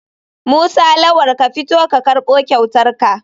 Musa lawal ka fito ka karbo kyautarka.